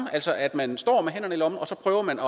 altså at man står med hænderne i lommen og så prøver man